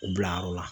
U bila yɔrɔ la